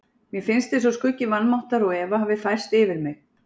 Mér finnst eins og skuggi vanmáttar og efa hafi færst yfir mig.